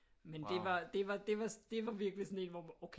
Men det var virkelig sådan en hvor okay